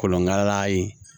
Kolonkala in